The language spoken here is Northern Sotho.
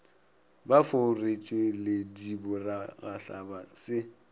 ba fo retšweledi bopharagahlaba se